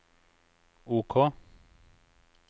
OK